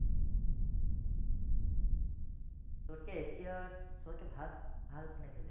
সৱতকে এচিয়াত সৱতকে ভাল ভাল কোন আহিছে এতিয়া?